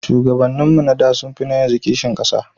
Shugabannin mu na da sun fi na yanzu kishin ƙasa